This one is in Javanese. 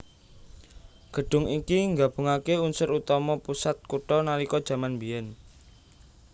Gedhung iki nggabungaké unsur utama pusat kutha nalika jaman mbiyen